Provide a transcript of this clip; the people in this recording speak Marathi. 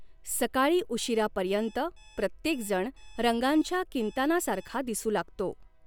सकाळी उशिरापर्यंत प्रत्येकजण रंगांच्या किंतानासारखा दिसू लागतो.